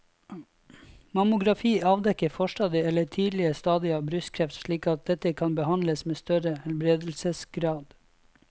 Mammografi avdekker forstadier eller tidlige stadier av brystkreft slik at dette kan behandles med større helbredelsesgrad.